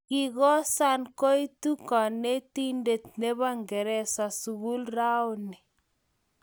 Kikosan koitu konetinte ne bo ngereza sukul raoni.